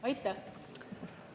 Aitäh!